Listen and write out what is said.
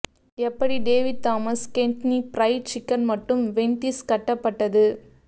எப்படி David Thomas Kentucky fried chicken மற்றும் Wendy's கட்டப்பட்டது